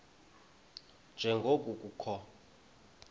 nje ngoko kukho